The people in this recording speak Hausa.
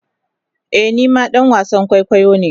Ee ni ma dan wasan kwaikwayo ne.